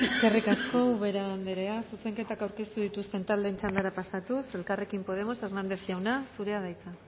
eskerrik asko ubera anderea zuzenketak aurkeztu dituzten taldeen txandara pasatuz elkarrekin podemos hernández jauna zurea da hitza